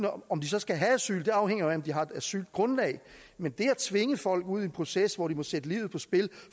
om de så skal have asyl afhænger jo af om de har et asylgrundlag men det at tvinge folk ud i en proces hvor de må sætte livet på spil